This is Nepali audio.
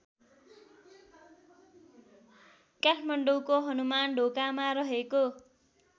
काठमाडौँको हनुमानढोकामा रहेको